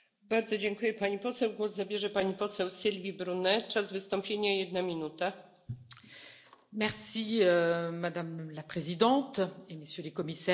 Madame la Présidente, Messieurs les Commissaires, je suis convaincue qu'il ne pourra y avoir de juste transition écologique et numérique sans anticipation et accompagnement social.